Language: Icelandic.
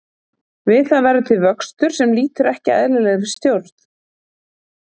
Við það verður til vöxtur sem lýtur ekki eðlilegri stjórn.